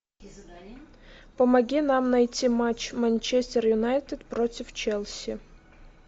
помоги нам найти матч манчестер юнайтед против челси